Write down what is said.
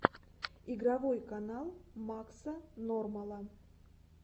игровой канал макса нормала